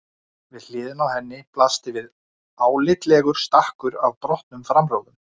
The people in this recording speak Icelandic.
Við hliðina á henni blasti við álitlegur stakkur af brotnum framrúðum.